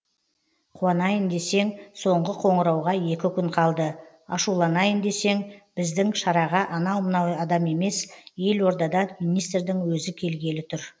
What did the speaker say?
қуанайын десең соңғы қоңырауға екі күн қалды ашуланайын десең біздің шараға анау мынау адам емес елордадан министрдің өзі келгелі тұр